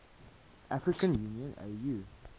african union au